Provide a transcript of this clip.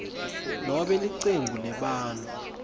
nobe licembu lebantfu